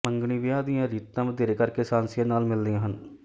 ਮੰਗਣੀ ਵਿਆਹ ਦੀਆਂ ਰੀਤਾਂ ਵਧੇਰੇ ਕਰਕੇ ਸ੍ਹਾਂਸੀਆਂ ਨਾਲ ਮਿਲਦੀਆਂ ਹਨ